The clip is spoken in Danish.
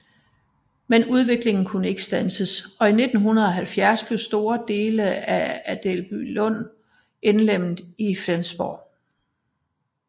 Men udviklingen kunne ikke standses og i 1970 blev store dele af Adelbylund indlemmet i Flensborg